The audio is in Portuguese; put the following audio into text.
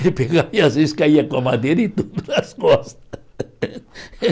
Ele pegava e, às vezes, caía com a madeira e tudo nas costas.